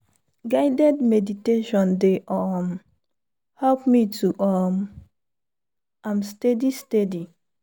guided meditation dey um help me do um am steady steady.